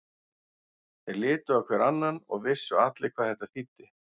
Þeir litu hver á annan og vissu allir hvað þetta þýddi.